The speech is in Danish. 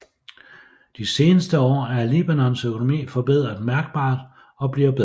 De seneste år er Libanons økonomi forbedret mærkbart og bliver bedre